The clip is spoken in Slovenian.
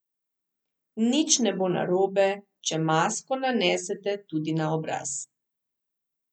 Nič ne bo narobe, če masko nanesete tudi na obraz.